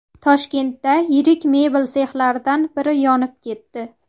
Toshkentda yirik mebel sexlaridan biri yonib ketdi .